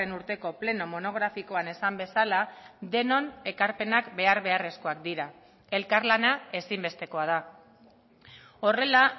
urteko pleno monografikoan esan bezala denon ekarpenak behar beharrezkoak dira elkarlana ezinbestekoa da horrela